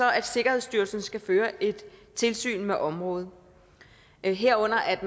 at sikkerhedsstyrelsen skal føre et tilsyn med området herunder at